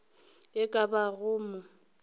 e ka ba go mo